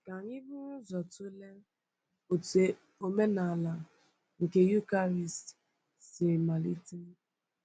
Ka anyị buru ụzọ tụlee otú omenala nke Eucharist si malite.